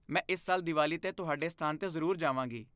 ਮੈਂ ਇਸ ਸਾਲ ਦੀਵਾਲੀ 'ਤੇ ਤੁਹਾਡੇ ਸਥਾਨ 'ਤੇ ਜ਼ਰੂਰ ਜਾਵਾਂਗੀ।